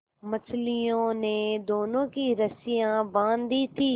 मछलियों ने दोनों की रस्सियाँ बाँध दी थीं